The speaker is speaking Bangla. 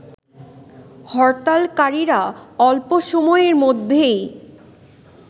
হরতালকারীরা অল্প সময়ের মধ্যেই